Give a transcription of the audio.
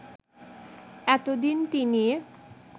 এতদিন তিনি